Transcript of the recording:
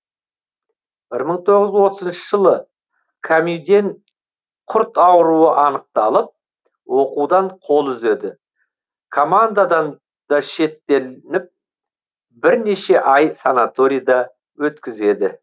бір мың тоғыз жүз отызыншы жылы камюден құрт ауруы анықталып оқудан қол үзеді командадан да шеттетіліп бірнеше ай санаторида өткізеді